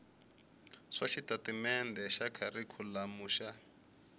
swa xitatimendhe xa kharikhulamu xa